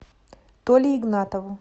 толе игнатову